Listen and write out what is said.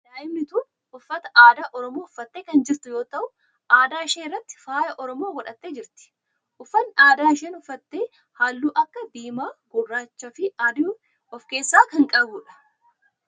Daa'imni tun uffata aadaa oromoo uffattee kan jirtu yoo ta'u adda ishee irratti faaya oromoo godhattee jirti. uffanni aadaa isheen uffatte halluu akka diimaa, gurraachaa fi adii of keessaa kan qabudha.